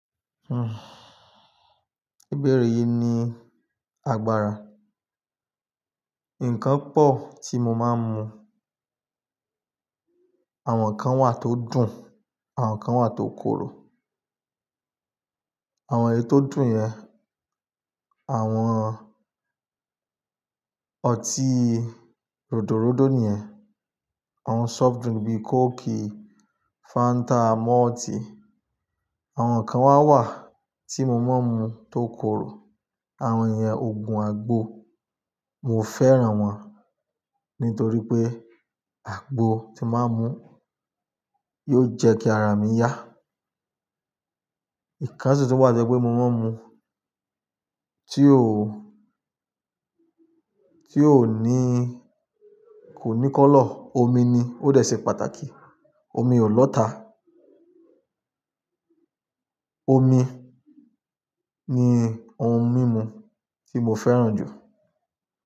Béèré yìí ni agbára. Ǹkan pọ̀ tí mo máa ń mu. Àwọn kan wà tó dùn, àwọn kan wà tó korò. Àwọn èyí tó dùn yẹn, àwọn ọtí ròdòròdó ni yẹn, àwọn soft drink bíi coke, fanta, malt. Àwọn kan wà wà tí mo máa ń mu tó korò. Àwọn iyẹn ogún àgbo. Mo fẹ́ran wọn nítorí pé àgbo tí máa mú yóò jẹ́ kí ara mi yá. Ǹkan sì tun wà tí ẹ pé mo máa ń mu tí ò tí ò ní kò ní kọ́lọ̀, omi ni ó dẹ̀ ṣe pàtàkì, omi olọ́ta. Omi ni ohun mímu tí mo fẹ́ran jù.